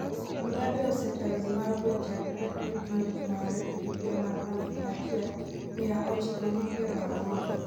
Mugabe osetayo Zimbabwe chakre oyud loch mare e higa mar aluf achiel miya ochiko gi piero aboro